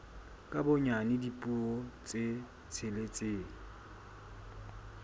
ka bonyane dipuo tse tsheletseng